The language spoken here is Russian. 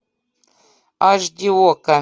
аш ди окко